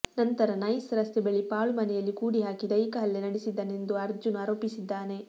ನಂತರ ನೈಸ್ ರಸ್ತೆ ಬಳಿ ಪಾಳು ಮನೆಯಲ್ಲಿ ಕೂಡಿ ಹಾಕಿ ದೈಹಿಕ ಹಲ್ಲೆ ನಡೆಸಿದ್ದಾನೆ ಎಂದು ಅರ್ಜುನ್ ಆರೋಪಿಸಿದ್ದಾನೆ